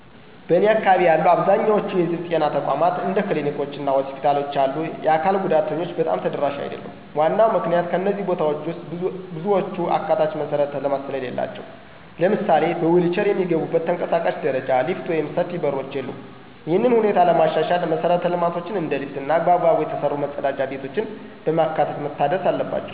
በእኔ አካባቢ ያሉ አብዛኛዎቹ የህዝብ ጤና ተቋማት እንደ ክሊኒኮች እና ሆስፒታሎች ያሉ የአካል ጉዳተኞች በጣም ተደራሽ አይደሉም። ዋናው ምክንያት ከእነዚህ ቦታዎች ውስጥ ብዙዎቹ አካታች መሠረተ ልማት ስለሌላቸው። ለምሳሌ በዊልቼር የሚገቡበት ተንቀሳቃሽ ደረጃ፣ ሊፍት ወይም ሰፊ በሮች የሉም። ይህንን ሁኔታ ለማሻሻል መሰረተ ልማቶችን እንደ ሊፍት እና በአግባቡ የተሰሩ መጸዳጃ ቤቶችን በማካተት መታደስ አለባቸው።